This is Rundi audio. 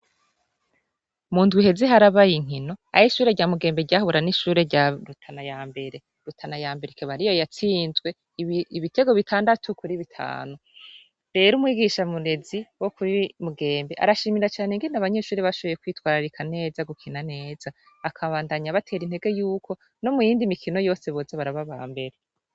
Mu ndwi iheze harabaye inkino aho ishure rya Mugembe ryahura n'ishure Rutana y'ambere, rutana yambere akaba ariyo yatsinzwe ibitego bitandatu Kuri bitanu. Rero umwigisha murezi wo kuri mugembe, arashimira cane ingene abanyeshure bashoboye kwitwararikana neza gukina neza akabandanya abatera intege yuko n'omuyindi mikino yoseee boza Baraba abambere.